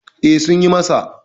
E, Sun yi masa.